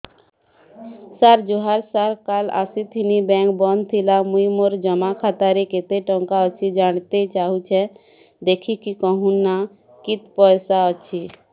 ସାର ଜୁହାର ସାର କାଲ ଆସିଥିନି ବେଙ୍କ ବନ୍ଦ ଥିଲା ମୁଇଁ ମୋର ଜମା ଖାତାରେ କେତେ ଟଙ୍କା ଅଛି ଜାଣତେ ଚାହୁଁଛେ ଦେଖିକି କହୁନ ନା କେତ ପଇସା ଅଛି